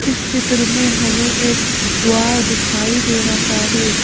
इस चित्र में हमें एक द्वार दिखाई दे रहा है।